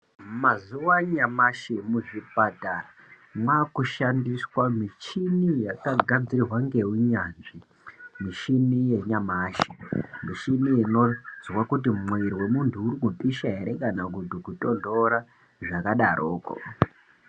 Mazuwa anyamashi muzvipatara yakushandiswa mushini yakagadzirwa ngeunyanzvi mishini yanyamashi mishini inonzwa kuti mwiri wemuntu urikupisha ere kana kuti kutonhora zvakadaroko.